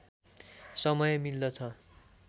समय मिल्दछ